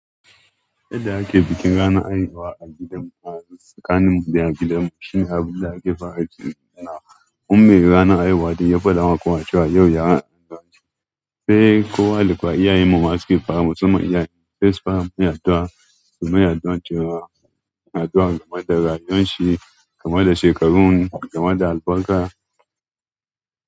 Yadda ake bikin ranar haihuwa a gidanmu, a tsakaninmu da a gidanmu shine abin da ake fara tuni yana. Kun mai ranar haihuwa da ya faɗa wa kowa cewa yau ya an haihu. Sai kowa, da kowa iyayenmu ma su ke fara. Musamman iyayenmu sai su fara mai addua, su mai addu'an cewa addu'a kamar da rayuwar shi, kamar da shekarun, kamar da albarka.